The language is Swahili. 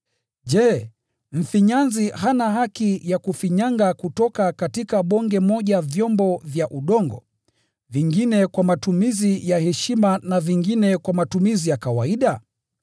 Je, mfinyanzi hana haki ya kufinyanga kutoka bonge moja vyombo vya udongo, vingine kwa matumizi ya heshima na vingine kwa matumizi ya kawaida?